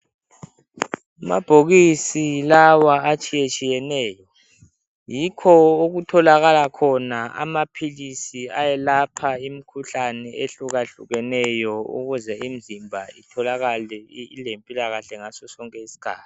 Amabhokisi lawa atshiyetshiyeneyo yikho okutholakala amaphilisi ayelapha imikhuhlane ehlukahlukeneyo ukuze imizimba itholakale ilempilakahle ngasosonke isikhathi.